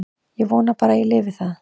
Ég vona bara að ég lifi það.